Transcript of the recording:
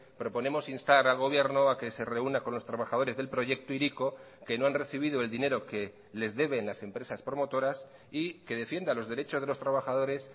proponemos instar al gobierno a que se reúna con los trabajadores del proyecto hiriko que no han recibido el dinero que les deben las empresas promotoras y que defienda los derechos de los trabajadores